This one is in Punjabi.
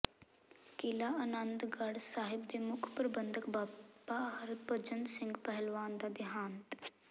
ਕਿਲ੍ਹਾ ਅਨੰਦਗੜ੍ਹ ਸਾਹਿਬ ਦੇ ਮੁੱਖ ਪ੍ਰਬੰਧਕ ਬਾਬਾ ਹਰਭਜਨ ਸਿੰਘ ਪਹਿਲਵਾਨ ਦਾ ਦਿਹਾਂਤ